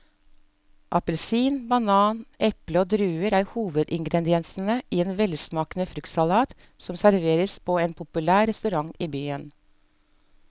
Appelsin, banan, eple og druer er hovedingredienser i en velsmakende fruktsalat som serveres på en populær restaurant i byen.